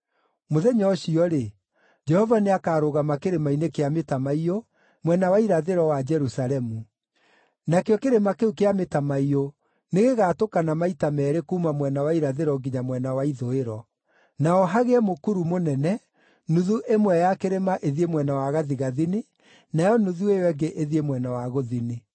Mũthenya ũcio-rĩ, Jehova nĩakarũgama Kĩrĩma-inĩ kĩa Mĩtamaiyũ, mwena wa irathĩro wa Jerusalemu. Nakĩo Kĩrĩma kĩu kĩa Mĩtamaiyũ nĩgĩgatũkana maita meerĩ kuuma mwena wa irathĩro nginya mwena wa ithũĩro; naho hagĩe mũkuru mũnene, nuthu ĩmwe ya kĩrĩma ĩthiĩ mwena wa gathigathini, nayo nuthu ĩyo ĩngĩ ĩthiĩ mwena wa gũthini.